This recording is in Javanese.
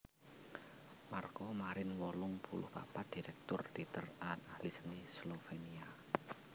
Marko Marin wolung puluh papat dirèktur téater lan ahli seni Slovénia